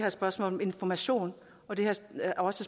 et spørgsmål om information og det er også